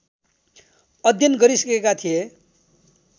अध्ययन गरिसकेका थिए